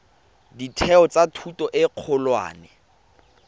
ditheo tsa thuto e kgolwane